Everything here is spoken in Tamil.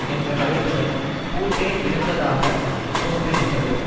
என்ற கருத்துடன் பூட்டே இருந்ததாக தோன்றுகின்றது